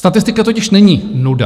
Statistika totiž není nuda.